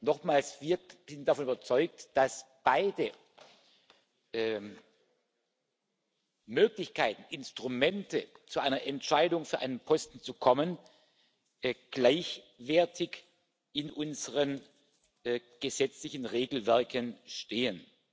Nochmals, wir sind davon überzeugt, dass beide Möglichkeiten, Instrumente, zu einer Entscheidung für einen Posten zu kommen, gleichwertig in unseren gesetzlichen Regelwerken stehen.